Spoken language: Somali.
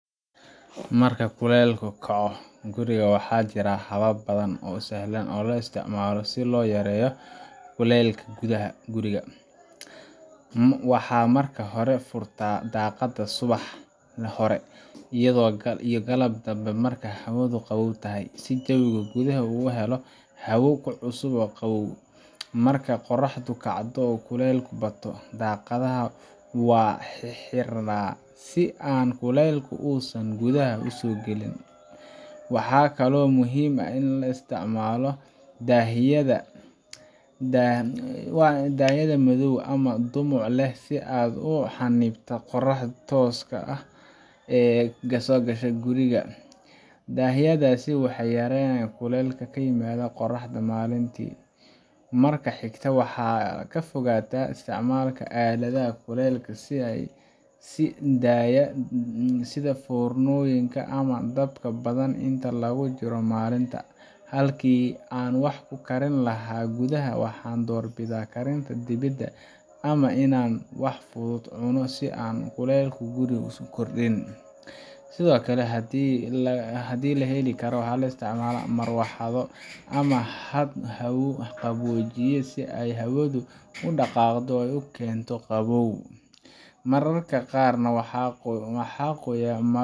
Marka kuleylka kaco guriga, waxaa jira habab badan oo sahlan oo loo isticmaalo si loo yareeyo kuleylka gudaha guriga: Waxaan marka hore furtaa daaqadaha subax hore iyo galab dambe marka hawadu qabow tahay, si jawiga gudaha u helo hawo cusub oo qabow. Markay qorraxdu kacdo oo kuleylku bato, daaqadaha waan xirxiraa si aan kuleylka uusan gudaha u soo galin. Waxaa kaloo muhiim ah in la isticmaalo daahyada madow ama dhumuc leh si ay u xannibaan qorraxda tooska ah ee soo gasha gudaha guriga. Daahyadaas waxay yareeyaan kuleylka ka yimaada qorraxda maalintii. Marka xigta, waxaan ka fogaadaa isticmaalka aaladaha kuleylka sii daaya sida foornooyinka ama dabka badan inta lagu jiro maalinta. Halkii aan wax ku karin lahaa gudaha, waxaan doorbidaa karinta dibedda ama inaan wax fudud cuno si aan kuleylka guriga u kordhin. Sidoo kale, haddii la heli karo, waxaan isticmaalnaa marawaxado ama haad hawo qaboojiya si ay hawada u dhaqaaqdo oo u keento qabow. Mararka qaarna waxaan qoyaa